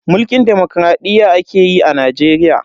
Mulkin demokradiyya ake yi a Najeriya.